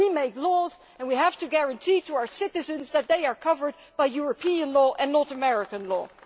we make laws and we have to guarantee to our citizens that they are covered by European law and not American law.